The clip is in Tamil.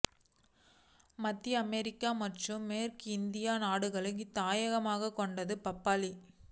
மத்திய அமெரிக்கா மற்றும் மேற்கிந்திய நாடுகளைத் தாயகமாகக் கொண்டது பப்பாளி